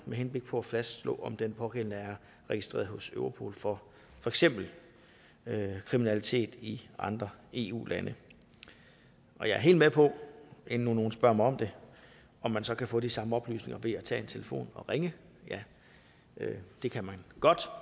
med henblik på at fastslå om den pågældende er registreret hos europol for for eksempel kriminalitet i andre eu lande jeg er helt med på inden nogen nu spørger mig om man så kan få de samme oplysninger ved at tage telefonen og ringe at ja det kan man godt